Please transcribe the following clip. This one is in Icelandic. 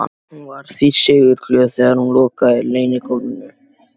Hún var því sigurglöð þegar hún lokaði leynihólfinu.